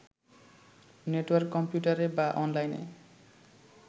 network কম্পিউটারে বা অনলাইনে